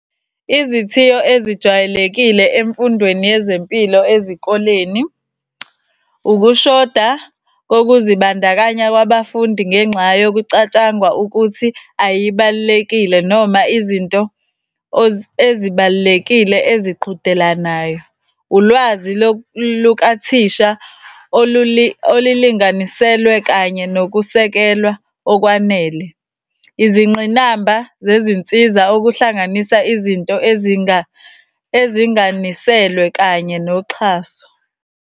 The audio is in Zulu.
Izithiyo ezijwayelekile emfundweni yezempilo ezikoleni, ukushoda kokuzibandakanya kwabafundi ngenxa yokucatshangwa ukuthi ayibalulekile noma izinto ezibalulekile eziqhudelanayo. Ulwazi lukathisha olulinganiselwe kanye nokusekelwa okwanele. Izingqinamba zezinsiza okuhlanganisa izinto ezinganiselwe kanye noxhaso.